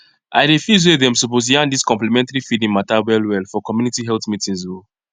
idey feel say dem suppose yarn dis complementary feeding mata wellwell for community health meetings o